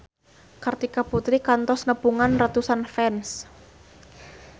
Kartika Putri kantos nepungan ratusan fans